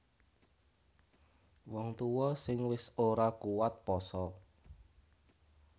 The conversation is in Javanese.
Wong tuwa sing wis ora kuwat pasa